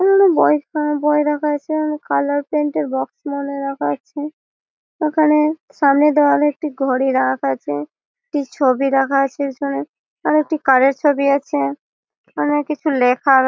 বই রাখা আছে ।কালার প্ৰিন্ট এর বক্স মনে হয় রাখা আছে। এখানে সামনের দেওয়ালে একটি ঘড়ি রাখা আছে । একটি ছবি রাখা আছে পিছনে একটি কার -এর ছবি আছে । ওখানে কিছু লেখা--